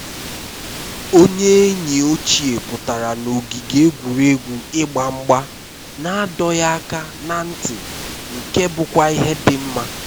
onye enyi ochie pụtara na ogige egwuregwu ịgba mgba na adọghị aka na ntị nke bụkwa ihe dị mma